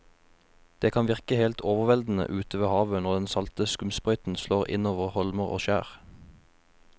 Det kan virke helt overveldende ute ved havet når den salte skumsprøyten slår innover holmer og skjær.